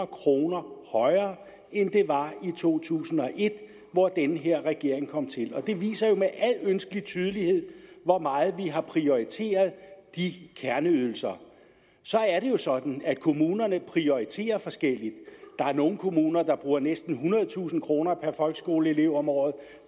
kroner højere end de var i to tusind og et hvor den her regering kom til det viser jo med al ønskelig tydelighed hvor meget vi har prioriteret de kerneydelser så er det jo sådan at kommunerne prioriterer forskelligt der er nogle kommuner der bruger næsten ethundredetusind kroner per folkeskoleelev om året